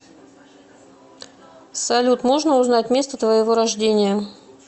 салют можно узнать место твоего рождения